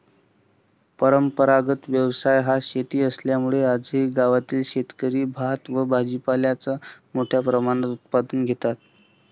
परंपरागत व्यवसाय हा शेती असल्यामूळे आजही गावातील शेतकरी भात व भाजीपाल्याचं मोठ्या प्रमाणात उत्पादन घेतात.